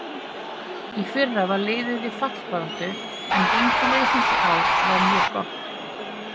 Í fyrra var liðið í fallbaráttu en gengi liðsins í ár var mjög gott.